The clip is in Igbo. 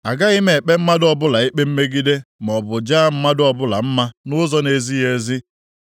Agaghị m ekpe mmadụ ọbụla ikpe mmegide maọbụ jaa mmadụ ọbụla mma nʼụzọ na-ezighị ezi.